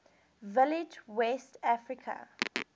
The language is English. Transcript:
village west area